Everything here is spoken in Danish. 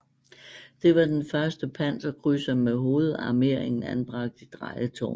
Det var den første panserkrydser med hovedarmeringen anbragt i drejetårne